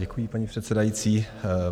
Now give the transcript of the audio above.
Děkuji, paní předsedající.